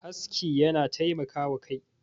aski yana taimaka wa Kai